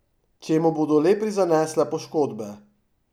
Če mu bodo le prizanesle poškodbe.